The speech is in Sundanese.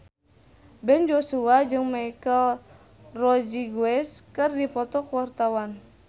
Ben Joshua jeung Michelle Rodriguez keur dipoto ku wartawan